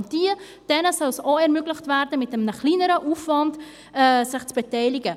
Auch diesen soll es ermöglicht werden, sich mit einem geringeren Aufwand zu beteiligen.